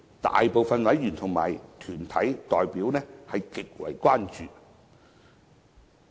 大部分委員和團體代表對此極為關注。